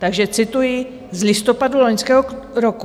Takže cituji z listopadu loňského roku: